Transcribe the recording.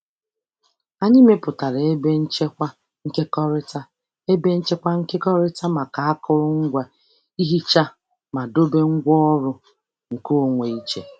Anyị mepụtara ebe nchekwa nkekọrịta ebe nchekwa nkekọrịta maka akụrụngwa ihicha mana dobe ngwaọrụ nkeonwe iche.